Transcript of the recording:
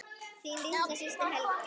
Þín litla systir, Helga.